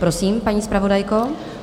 Prosím, paní zpravodajko.